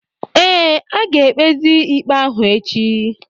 ee, a ga-ekpezi ikpe ahụ echi